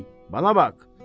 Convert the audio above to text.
Ey, mənə bax!